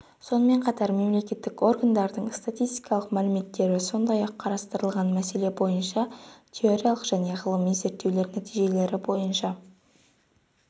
сонымен қатар мемлекеттік органдардың статистикалық мәліметтері сондай-ақ қарастырылған мәселе бойынша теориялық және ғылыми зерттеулер нәтижелері бойынша